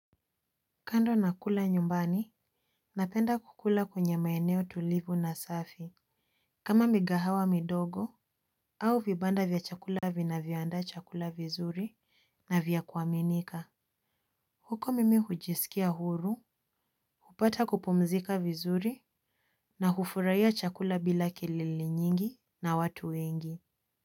Kando na kula nyumbani napenda kukula kwenye maeneo tulivu na safi kama migahawa midogo au vibanda vya chakula vinavyoandaa chakula vizuri na vya kuaminika. Huko mimi hujisikia huru. Hupata kupumzika vizuri. Na hufuraia chakula bila kelele nyingi na watu wengi.